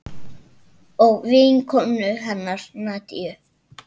Og vinkonu hennar Nadiu.